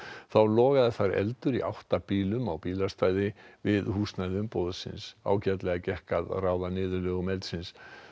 þá logaði þar eldur í átta bílum á bílastæði við húsnæði umboðsins ágætlega gekk að ráða niðurlögum eldsins